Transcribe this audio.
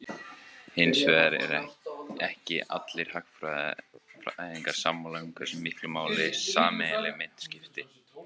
Hins vegar eru ekki allir hagfræðingar sammála um hversu miklu máli sameiginleg mynt skipti.